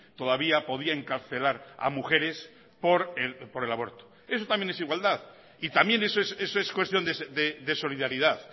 todavía podía encarcelar a mujeres por el aborto eso también es igualdad y también eso es cuestión de solidaridad